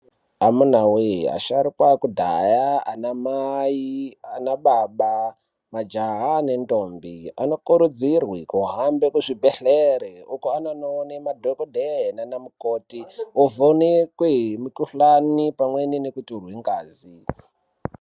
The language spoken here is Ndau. Amuna wee asharukwa akudhaya, ana mai ana baba majaha nendombi anokurudzirwe kuhambe kuzvibhedhlere uko kwaanono one madhokodhee nanamukhoti, ovhonekwe mukohlani pamwe nekutorwe ngazi.